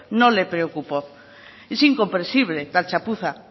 no le preocupó es incomprensible tal chapuza